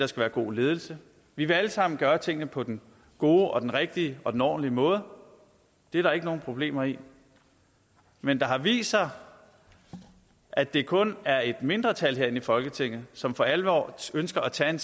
skal være god ledelse vi vil alle sammen gøre tingene på den gode og den rigtige og den ordentlige måde det er der ikke nogen problemer i men det har vist sig at det kun er et mindretal her i folketinget som for alvor ønsker at tage